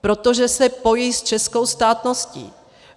Protože se pojí s českou státností.